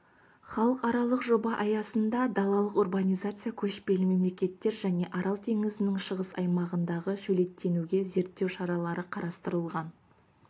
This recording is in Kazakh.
халықаралық жоба аясында далалық урбанизация көшпелі мемлекеттер және арал теңізінің шығыс аймағындағы шөлейттенуге зерттеу шаралары қарастырылған